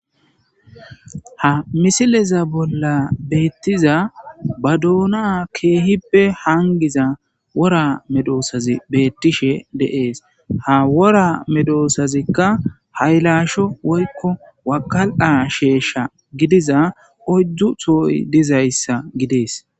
ha misileza bolla beettiza ba doona keehippe hangiza wora medoosazi beettishe de'ees ha wora medoosazikka haylasho woykko wakal7a sheyshsha gidiza oddu tooy dizayssa gidees